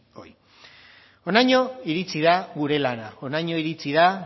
honaino iritsi da gure lana honaino iritsi da